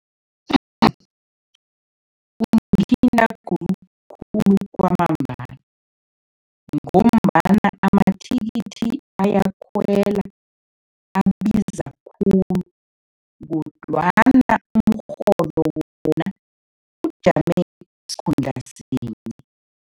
Kungithinta khulukhulu kwamambala ngombana amathikithi ayakhwela, abiza khulu kodwana umrholo wona ujame sikhundla sinye.